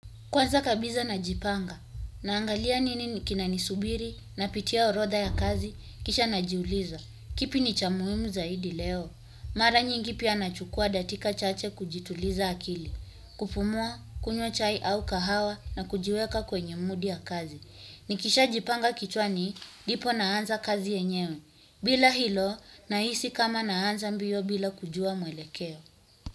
Kwanza kabisa najipanga, naangalia nini kinanisubiri, napitia orodha ya kazi, kisha najiuliza. Kipi ni cha muhimu zaidi leo? Mara nyingi pia nachukua dakika chache kujituliza akili. Kupumua, kunywa chai au kahawa na kujiweka kwenye mudi ya kazi. Nikisha jipanga kichwani, ndipo naanza kazi yenyewe. Bila hilo, nahisi kama naanza mbio bila kujua mwelekeo.